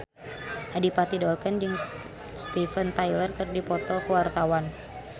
Adipati Dolken jeung Steven Tyler keur dipoto ku wartawan